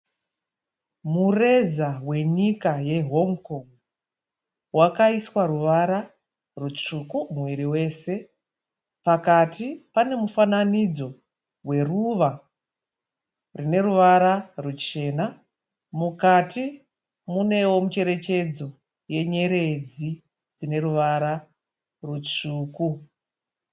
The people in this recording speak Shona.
Mureza wenyika yeHong Kong. Wakaiswa ruvara rutsvuku muviri wese. Pakati pane mufananidzo weruva rine ruvara ruchena. Mukati munewo mucherechedzo yenyeredzi dzine ruvara rutsvuku.